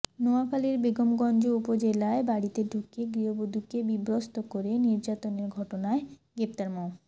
নোয়াখালীর বেগমগঞ্জ উপজেলায় বাড়িতে ঢুকে গৃহবধূকে বিবস্ত্র করে নির্যাতনের ঘটনায় গ্রেপ্তার মো